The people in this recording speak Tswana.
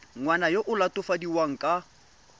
ngwana yo o latofadiwang ka